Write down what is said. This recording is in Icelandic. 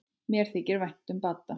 Mér þykir vænt um Badda.